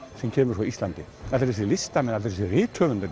sem kemur frá Íslandi allir þessir listamenn og rithöfundar